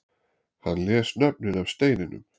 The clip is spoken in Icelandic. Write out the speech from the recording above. Hann les nöfnin af steininum